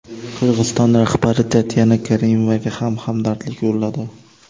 Qirg‘iziston rahbari Tatyana Karimovaga ham hamdardlik yo‘lladi.